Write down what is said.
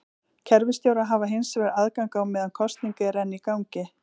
Kerfisstjórar hafa hins vegar aðgang á meðan kosning er enn í gangi.